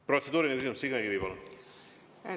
Protseduuriline küsimus, Signe Kivi, palun!